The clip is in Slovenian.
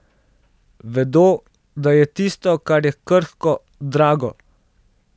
Vedo, da je tisto, kar je krhko, drago.